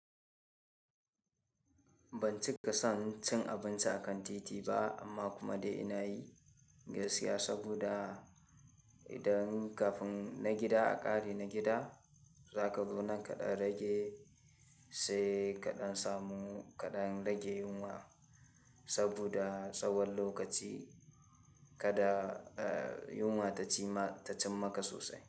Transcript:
Ban cika son cin abinci a kan titi ba amma kuma dai ina yi gaskiya saboda idan kafin na gida aƙa are na gida, za ka zo nan kaɗan rage sai kaɗan samu kaɗan rage yunwa saboda tsawon lokaci kada, eh, yunwa ta ci ma, ta cim maka sosai.